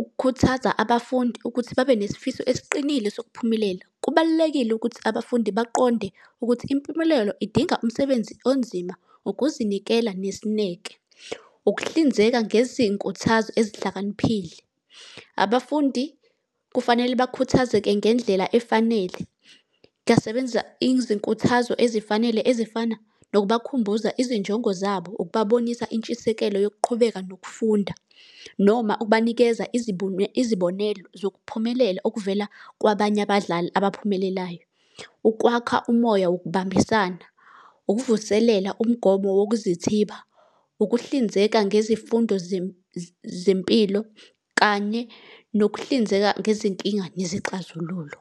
Ukukhuthaza abafundi ukuthi babe nesifiso esiqinile sokuphumelela. Kubalulekile ukuthi abafundi baqonde ukuthi impumelelo idinga umsebenzi onzima, ukuzinikela, nesineke. Ukuhlinzeka ngezinkuthazo ezihlakaniphile. Abafundi kufanele bakhuthazeke ngendlela efanele, ngingasebenzisa izinkuthazo ezifanele ezifana nokubakhumbuza izinjongo zabo, ukubabonisa intshisekelo yokuqhubeka nokufunda. Noma ukubanikeza izibonelo zokuphumelela okuvela kwabanye abadlali abaphumelelayo. Ukwakha umoya wokubambisana. Ukuvuselela umgomo wokuzithiba. Ukuhlinzeka ngezifundo zempilo, kanye nokuhlinzeka ngezinkinga nezixazululo.